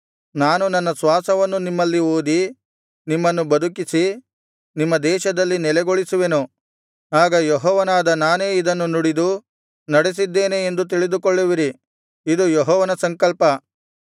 ನಾನು ನನ್ನ ಶ್ವಾಸವನ್ನು ನಿಮ್ಮಲ್ಲಿ ಊದಿ ನಿಮ್ಮನ್ನು ಬದುಕಿಸಿ ನಿಮ್ಮ ದೇಶದಲ್ಲಿ ನೆಲೆಗೊಳಿಸುವೆನು ಆಗ ಯೆಹೋವನಾದ ನಾನೇ ಇದನ್ನು ನುಡಿದು ನಡೆಸಿದ್ದೇನೆ ಎಂದು ತಿಳಿದುಕೊಳ್ಳುವಿರಿ ಇದು ಯೆಹೋವನ ಸಂಕಲ್ಪ